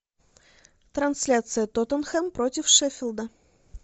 трансляция тоттенхэм против шеффилда